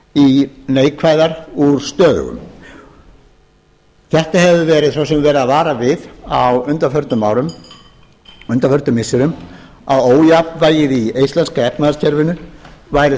í neikvæðar úr stöðugum þessu hefur svo sem verið varað við á undanförnum árum og undanförnum missirum að ójafnvægið í íslenska efnahagskerfinu væri